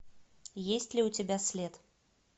есть ли у тебя след